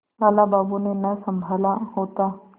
लाला बाबू ने न सँभाला होता